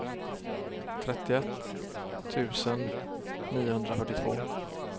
trettioett tusen niohundrafyrtiotvå